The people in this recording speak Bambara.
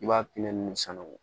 I b'a pɛn ninnu sanuya